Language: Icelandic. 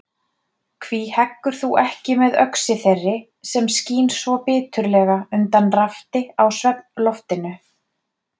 Hví heggur þú ekki með öxi þeirri sem skín svo biturlega undan rafti á svefnloftinu?